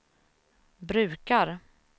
brukar